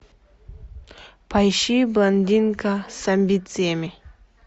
поищи блондинка с амбициями